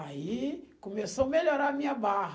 Aí começou a melhorar a minha barra.